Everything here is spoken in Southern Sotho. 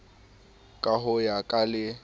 ka ho ya ka le